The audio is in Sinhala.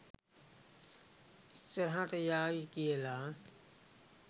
ඉස්සරහට යාවි කියලා.